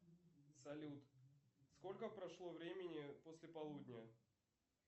салют сколько прошло времени после полудня